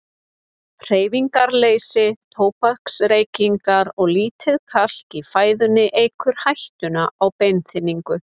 Hreyfingarleysi, tóbaksreykingar og lítið kalk í fæðunni eykur hættuna á beinþynningu.